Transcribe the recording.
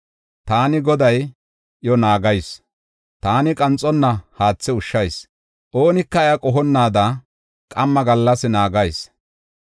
Taani, Goday iya naagayis; taani qanxonna haathe ushshayis; oonika iya qohonnaada qamma gallas naagayis.